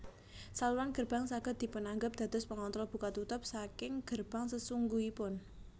Saluran gerbang saged dipunanggep dados pengontrol buka tutup saking gerbang sesungguhipun